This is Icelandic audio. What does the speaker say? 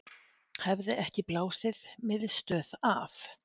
Hefði ekki blásið miðstöð af